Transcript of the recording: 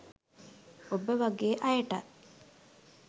ඔබ වගෙ අයටත්